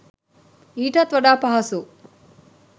ඊටත් වඩා පහසු